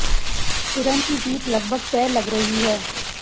किरण की जीत लगभग तय लग रही है